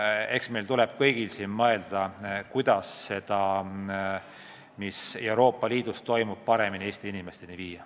Eks meil tuleb kõigil mõelda, kuidas seda, mis Euroopa Liidus toimub, paremini Eesti inimesteni viia.